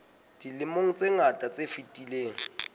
dilemong tse ngata tse fetileng